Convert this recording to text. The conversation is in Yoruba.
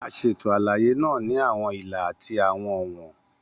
A ṣeto alaye naa ni awọn ila ati awọn ọwọn.